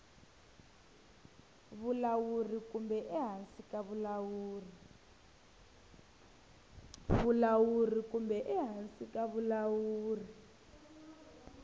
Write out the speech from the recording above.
vulawuri kumbe ehansi ka vulawuri